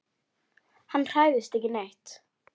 Hann hræðist ekki neitt.